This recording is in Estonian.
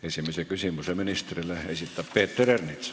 Esimese küsimuse ministrile esitab Peeter Ernits.